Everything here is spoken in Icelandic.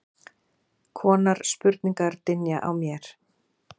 konar spurningar dynja á mér.